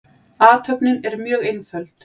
Athöfnin er mjög einföld.